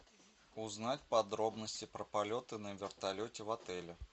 узнать подробности про полеты на вертолете в отеле